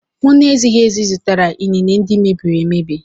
M na-ezighị ezi zụtara inine ndị mebiri emebi.